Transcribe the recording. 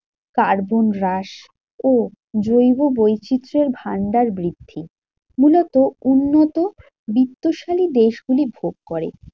Carbon হ্রাস ও জৈব বৈচিত্রের ভান্ডার বৃদ্ধি মূলত উন্নত বিত্তশালী দেশগুলি ভোগ করে।